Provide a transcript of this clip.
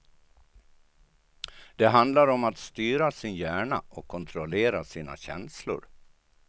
Det handlar om att styra sin hjärna och kontrollera sina känslor.